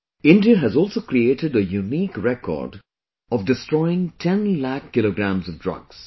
India has also created a unique record of destroying 10 lakh kg of drugs